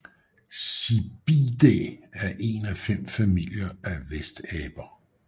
Cebidae er en af fem familier af vestaber